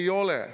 Ei ole.